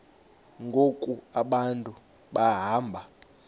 ngoku abantu behamba